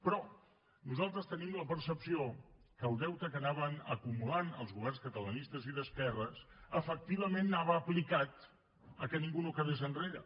però nosaltres tenim la percepció que el deute que anaven acumulant els governs catalanistes i d’esquerres efectivament anava aplicat perquè ningú no quedés enrere